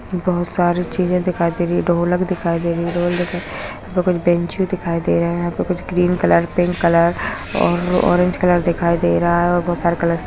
बोहोत सारी चीजे दिखाई दे रही है ढोलक दिखाई दे रही है ढोल दिखाई यहाँ पे कुछ बैंचें दिखाई दे रहे है यहाँ पे कुछ ग्रीन कलर पिंक कलर और ऑरेंज कलर दिखाई दे रहा है और बोहोत सारे कलर्स --